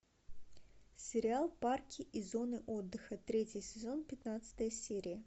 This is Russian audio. сериал парки и зоны отдыха третий сезон пятнадцатая серия